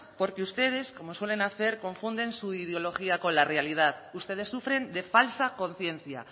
porque ustedes como suelen hacer confunden su ideología con la realidad ustedes sufren de falsa conciencia